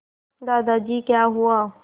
दादाजी क्या हुआ